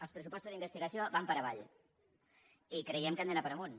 els pressupostos d’investigació van per avall i creiem que han d’anar per amunt